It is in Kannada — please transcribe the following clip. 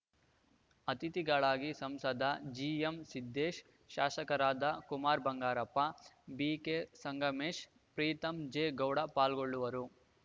ಅತಿಥಿಗಳಾಗಿ ಸಂಸದ ಜಿ ಎಂ ಸಿದ್ದೇಶ್‌ ಶಾಸಕರಾದ Kumar Bangarappa B K Sangamesh Preetham J Gowda ಪಾಲ್ಗೊಳ್ಳುವರು